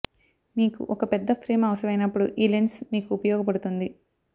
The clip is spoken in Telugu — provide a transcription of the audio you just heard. మీకు ఒక పెద్ద ఫ్రేం అవసరమైనప్పుడు ఈ లెన్స్ మీకు ఉపయోగపడుతుంది